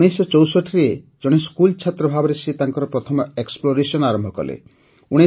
୧୯୬୪ରେ ଜଣେ ସ୍କୁଲ ଛାତ୍ର ଭାବରେ ସେ ତାଙ୍କର ପ୍ରଥମ ଏକ୍ସପ୍ଲୋରେସନ କଲେ